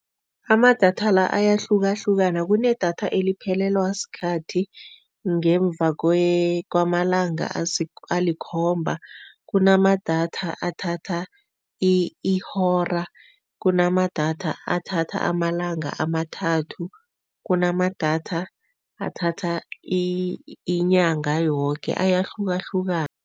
Amadatha la ayahlukahlukana. Kunedatha eliphelelwa sikhathi ngemva kwamalanga alikhomba, kunamadatha athatha ihora, kunamadatha athatha amalanga amathathu, kunamadatha athatha inyanga yoke, ayahlukahlukana.